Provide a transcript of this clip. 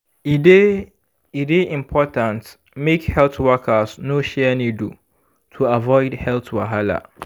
e dey e dey important make health workers no share needle to avoid health wahala.